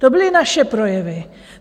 To byly naše projevy.